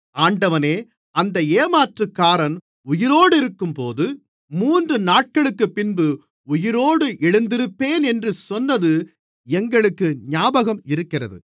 ஆண்டவனே அந்த ஏமாற்றுக்காரன் உயிரோடிருக்கும்போது மூன்று நாட்களுக்குப்பின்பு உயிரோடு எழுந்திருப்பேன் என்று சொன்னது எங்களுக்கு ஞாபகம் இருக்கிறது